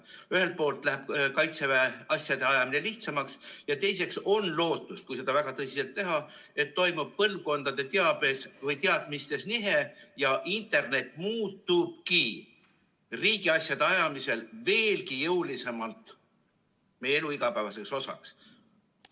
Nii et ühelt poolt läheb Kaitseväel asjade ajamine lihtsamaks ja teiseks on lootust, kui seda väga tõsiselt teha, et toimub põlvkondade teadmistes nihe ja internet muutubki riigiasjade ajamisel veelgi jõulisemalt meie elu igapäevaseks osaks.